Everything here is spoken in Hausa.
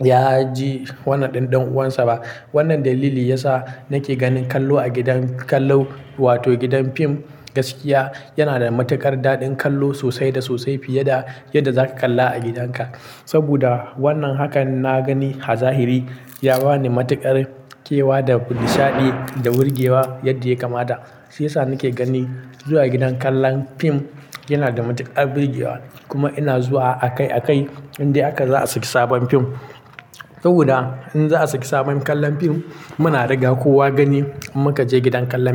ya ji wannan ɗanɗanonsa ba. Wannan dalili ya sa nake ganin kallo a gidan kallon wato gidan fim gaskiya yana da matuƙar daɗin kallo sosai da sosai fiye da yadda zaka kalla a gidanka. Saboda wannan haka na gani zahiri ya ba ni matuƙar kewa da nishaɗi da wurgewa yadda ya kamata. Shi ya sa nake ganin zuwa gidan kallon fim yana da matuƙar burge wa. Kuma ina zuwa akai-akai idan haka za a saki sabon fim. Saboda in za a saki sabon kallon fim muna riga kowa gani muka je gidan kallon fim.